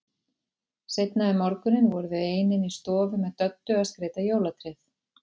Seinna um morguninn voru þau ein inni í stofu með Döddu að skreyta jólatréð.